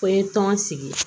Ko n ye tɔn sigi